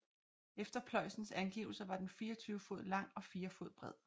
Efter Pløyens angivelser var den 24 fod lang og fire fod bred